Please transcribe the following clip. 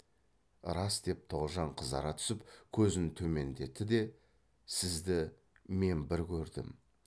рас деп тоғжан қызара түсіп көзін төмендетті де сізді мен бір көрдім